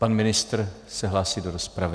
Pan ministr se hlásí do rozpravy.